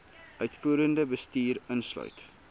uitvoerende bestuur insluit